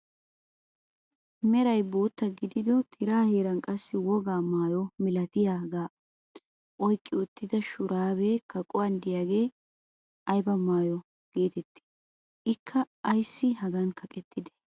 Meray bootta gidido tiraa heeran qassi woga maayo milatiyaagaa oyqqi uttida shuraabee kaquwaan de'iyaagee ayba maayo getettii? ikka ayssi hagaadan kaqettidee?